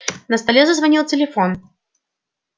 на столе зазвонил телефон